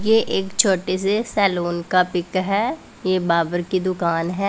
यह एक छोटे से सैलून का पिक है ये बाबर की दुकान है।